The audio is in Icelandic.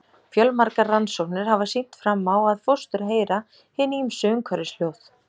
Fjölmargar rannsóknir hafa sýnt fram á að fóstur heyra hin ýmsu umhverfishljóð.